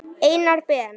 Einars Ben.